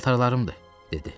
Paltarlarımdır, dedi.